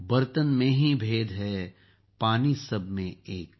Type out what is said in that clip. बर्तन मेंही भेद है पानी सब में एक